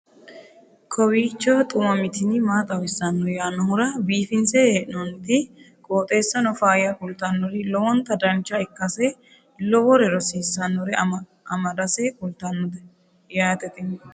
kowiicho xuma mtini maa xawissanno yaannohura biifinse haa'noonniti qooxeessano faayya kultannori lowonta dancha ikkase lowore rosiisannore amadase kultannote yaate tini